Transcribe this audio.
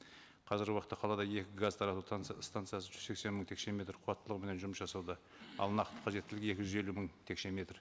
қазіргі уақытта қалада екі газ тарату станциясы жүз сексен мың текше метр қуаттылығыменен жұмыс жасауда ал нақты қажеттілігі екі жүз елу мың текше метр